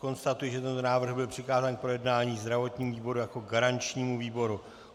Konstatuji, že tento návrh byl přikázán k projednání zdravotnímu výboru jako garančnímu výboru.